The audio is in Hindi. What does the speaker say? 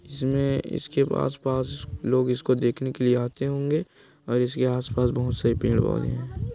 इसमें इसके पास-पास लोग इसको देखने के लिए आते होंगे और इसके आसपास बहुत से पेड़-पौधे है।